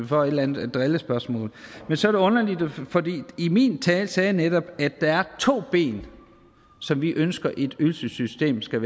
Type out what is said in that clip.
får et eller andet drillespørgsmål men så er det underligt for i min tale sagde jeg netop at der er to ben som vi ønsker et ydelsessystem skal